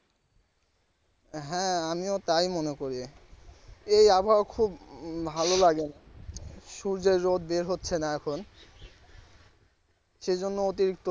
হ্যাঁ আমিও তাই মনে করি এই আবহাওয়া খুব ভালো লাগে না সূর্যের রোদ বের হচ্ছে না এখন সেইজন্য অতিরিক্ত